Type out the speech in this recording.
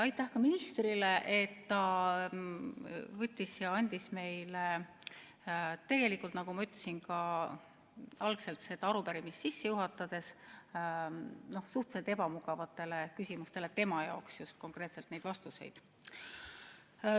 Aitäh ka ministrile, et ta andis meile vastuseid, tegelikult, nagu ma ka seda arupärimist sisse juhatades ütlesin, tema jaoks suhteliselt ebamugavatele küsimustele!